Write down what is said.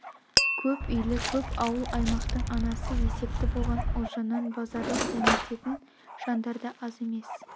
көп үйлі көп ауыл-аймақтың анасы есепті болған ұлжаннан базарлық дәмететн жандар да аз емес